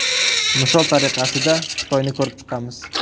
Misol tariqasida, Xitoyni ko‘rib chiqamiz.